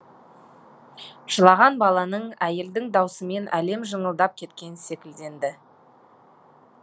жылаған баланың әйелдің даусымен әлем жыңылдап кеткен секілденді